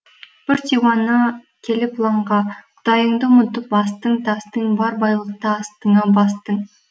бір диуана келіп лаңға құдайыңды ұмытып астың тастың бар байлықты астыңа бастың